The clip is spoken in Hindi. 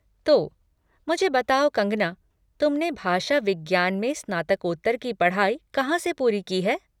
तो, मुझे बताओ, कंगना, तुमने भाषा विज्ञान में स्नातकोत्तर की पढ़ाई कहाँ से पूरी की है?